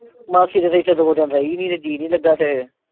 ਮਾਸੀ ਤੇ ਇੱਥੇ ਦੋ ਦਿਨ ਰਹੀ ਨੀ ਤੇ ਜੀ ਨੀ ਲੱਗਾ ਫਿਰ